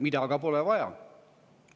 Seda aga pole vaja.